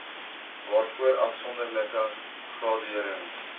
waarvoor afsonderlike graderings